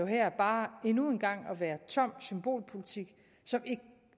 her bare endnu en gang at være tom symbolpolitik som